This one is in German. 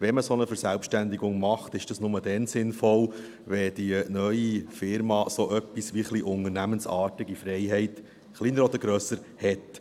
Wenn man eine solche Verselbstständigung macht, ist dies nur dann sinnvoll, wenn die neue Firma so etwas wie ein bisschen unternehmensartige Freiheit – kleiner oder grösser – hat.